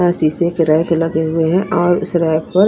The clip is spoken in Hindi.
शीशे के रैक लगे हुए हैं और उस रैक को --